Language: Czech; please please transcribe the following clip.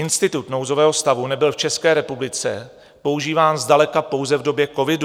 Institut nouzového stavu nebyl v České republice používán zdaleka pouze v době covidu.